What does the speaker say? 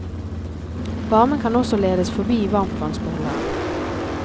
Varmen kan også ledes forbi varmtvannsbeholderen.